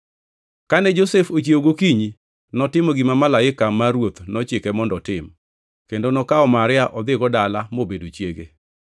Kane Josef ochiewo gokinyi, notimo gima malaika mar Ruoth nochike mondo otim, kendo nokawo Maria odhigo dala mobedo chiege.